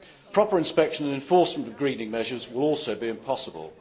Proper inspection and enforcement of greening measures will also be impossible.